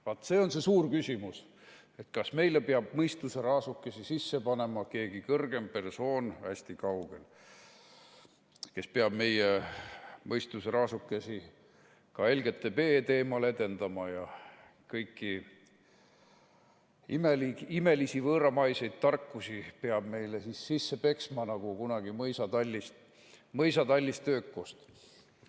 Vaat see on see suur küsimus: kas meile peab mõistuseraasukese sisse panema keegi kõrgem persoon hästi kaugel, kes peab meie mõistuseraasukesi ka LGBT teemal edendama ja kõiki imelisi võõramaiseid tarkusi peab meile sisse peksma nagu kunagi mõisatallis töökust?